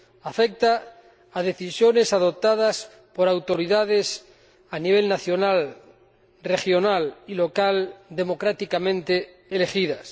Afecta a decisiones adoptadas por autoridades a nivel nacional, regional y local democráticamente elegidas.